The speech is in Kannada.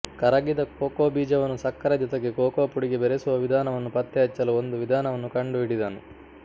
ಕರಗಿದ ಕೋಕೋ ಬೀಜವನ್ನು ಸಕ್ಕರೆ ಜೊತೆಗೆ ಕೊಕೊ ಪುಡಿಗೆ ಬೆರೆಸುವ ವಿಧಾನವನ್ನು ಪತ್ತೆಹಚ್ಚಲು ಒಂದು ವಿಧಾನವನ್ನು ಕಂಡುಹಿಡಿದನು